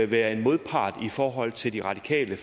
være en modpart i forhold til de radikale